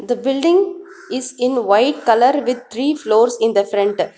the building in white colour with three floors in the front.